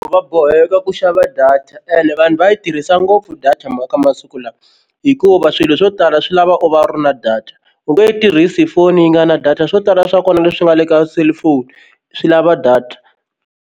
Va boheka ku xava data and vanhu va yi tirhisa ngopfu data mo ka masiku lawa hikuva swilo swo tala swi lava u va u ri na data u nge yi tirhisi foni yi nga na data swo tala swa kona leswi nga le ka cellphone swi lava data.